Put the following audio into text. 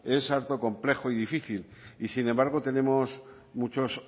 es harto complejo y difícil sin embargo tenemos muchos